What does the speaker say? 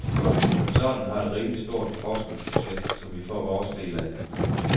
Koncernen har et rimeligt stort forskningsbudget, som vi får vores del af.